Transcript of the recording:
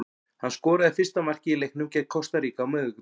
Hann skoraði fyrsta markið í leiknum gegn Kosta Ríka á miðvikudag.